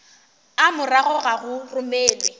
a morago ga go romelwa